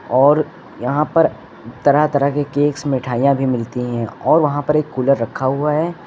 और यहां पर तरह तरह के केक मिठाइयां भी मिलती हैं और वहां पर एक कुलर रखा हुआ है।